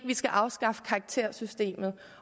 vi skal afskaffe karaktersystemet